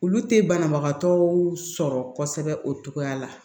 Olu tɛ banabagatɔw sɔrɔ kosɛbɛ o cogoya la